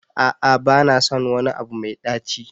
A'a ba na son wani abu mai ɗaci.